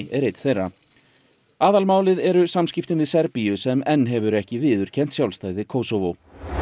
er einn þeirra eru samskiptin við Serbíu sem enn hefur ekki viðurkennt sjálfstæði Kosovo